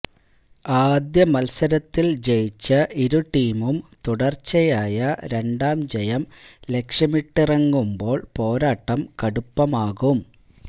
ആദ്യ മത്സരത്തില് ജയിച്ച ഇരു ടീമും തുടര്ച്ചയായ രണ്ടാം ജയം ലക്ഷ്യമിട്ടറിങ്ങുമ്പോള് പോരാട്ടം കടുപ്പമാകും